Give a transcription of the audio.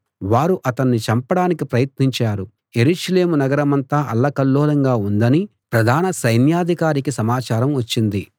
వారు అతణ్ణి చంపడానికి ప్రయత్నించారు యెరూషలేము నగరమంతా అల్లకల్లోలంగా ఉందని ప్రధాన సైన్యాధికారికి సమాచారం వచ్చింది